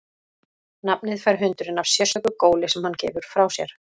Nafnið fær hundurinn af sérstöku góli sem hann gefur frá sér.